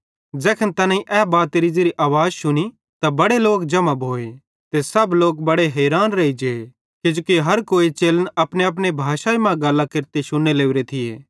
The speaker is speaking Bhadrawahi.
ज़ैखन तैनेईं ए बातेरी ज़ेरी आवाज़ शुनी त बड़े लोक जम्हां भोए ते सब लोक बड़े हैरान रेइजे किजोकि हर कोई चेलन अपनेअपने भाषाई मां गल्लां केरते शुन्ने लोरे थियो